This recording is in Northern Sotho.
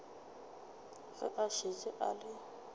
ge a šetše a le